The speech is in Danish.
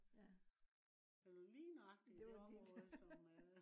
ja det var lige